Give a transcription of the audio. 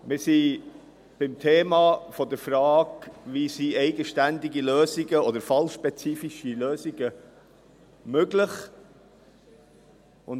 Wir sind bei der Frage, wie eigenständige oder fallspezifische Lösungen möglich sind.